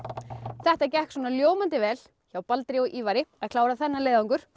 þetta gekk svona ljómandi vel hjá Baldri og Ívari að klára þennan leiðangur